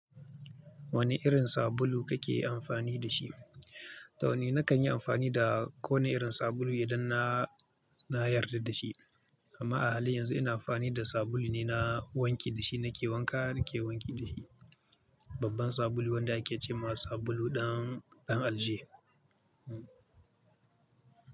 Wane irin sabulu kake amfani da shi? To, ni na kan yi amfani da ko wane irin sabulu idan na yarda da shi. Amma a halin yanzu ina amfani da sabulu ne na wanki. Da shi nake wanka nake wanki da shi. Babban sabulu wanda ake ce ma sabulu ɗan aljihu. Hmm.